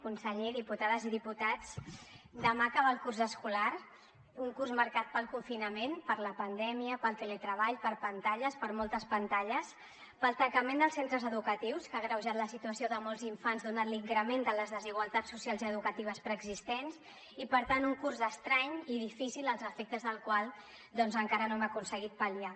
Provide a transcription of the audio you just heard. conseller diputades i diputats demà acaba el curs escolar un curs marcat pel confinament per la pandèmia pel teletreball per pantalles per moltes pantalles pel tancament dels centres educatius que ha agreujat la situació de molts infants donat l’increment de les desigualtats socials i educatives preexistents i per tant un curs estrany i difícil els efectes del qual doncs encara no hem aconseguit pal·liar